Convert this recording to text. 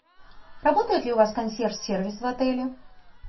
работает ли у вас консьерж сервис в отеле